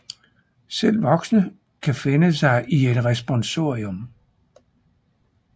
Selv voksne kan finde sig i en responsorium